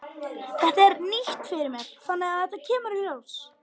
Þetta er nýtt fyrir mér þannig að þetta kemur í ljós.